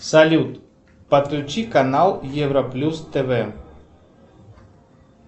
салют подключи канал европлюс тв